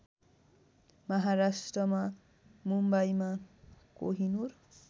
महाराष्ट्रमा मुम्बईमा कोहिनुर